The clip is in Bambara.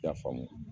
I y'a faamu